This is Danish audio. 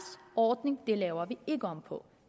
ordning laver vi ikke om på